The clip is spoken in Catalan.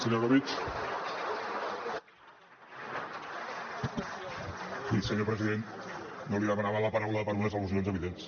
bé senyor president jo li demanava la paraula per unes al·lusions evidents